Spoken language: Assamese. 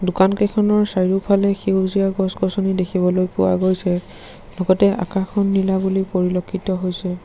দোকানকেইখনৰ চাৰিওফালে সেউজীয়া গছ গছনি দেখিবলৈ পোৱা গৈছে লগতে আকাশখন নীলা বুলি পৰিলক্ষিত হৈছে।